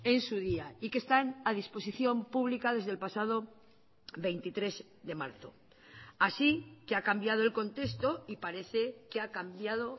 en su día y que están a disposición pública desde el pasado veintitrés de marzo así que ha cambiado el contexto y parece que ha cambiado